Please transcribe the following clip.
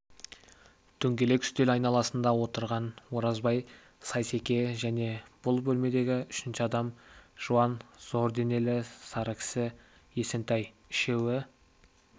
дөңгелек үстел айналасында отырған оразбай сейсеке және бұл бөлмедегі үшінші адам жуан зор денелі сары кісі есентай үшеуі